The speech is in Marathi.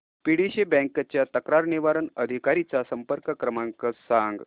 पीडीसीसी बँक च्या तक्रार निवारण अधिकारी चा संपर्क क्रमांक सांग